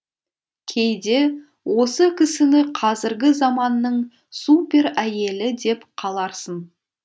кейде осы кісіні қазіргі заманның супер әйелі деп қаларсын